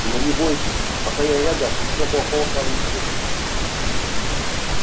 но не бойтесь пока я рядом ничего плохого с вами не случится